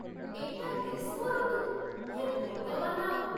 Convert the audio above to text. ଏଇଟା ଗ୍ରୀଷ୍ମ ଋତୁ, ହେ ଭଗବାନ!